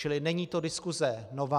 Čili není to diskuse nová.